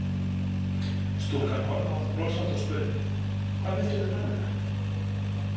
Stúlkan horfði á hann brosandi og spurði: „Hvað viltu með nálina“?